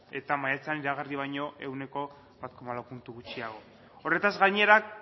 eta maiatzean iragarri baino ehuneko bat koma lau puntu gutxiago horretaz gainera